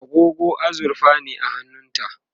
agogo azurfa ne a hannunta